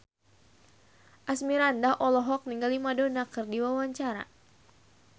Asmirandah olohok ningali Madonna keur diwawancara